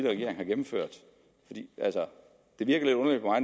regering har gennemført altså